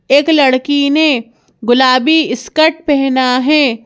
एक लड़की ने गुलाबी स्कर्ट पहना है।